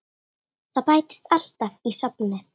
Það bætist alltaf í safnið.